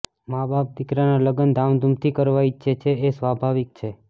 માબાપ દીકરાનાં લગ્ન ધામધૂમથી કરવા ઈચ્છે એ સ્વાભાવિક છે